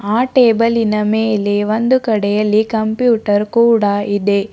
ಆ ಟೇಬಲ್ಲಿನ ಮೇಲೆ ಒಂದು ಕಡೆಯಲ್ಲಿ ಕಂಪ್ಯೂಟರ್ ಕೂಡ ಇದೆ.